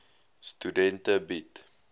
studente bied